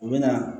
U bɛ na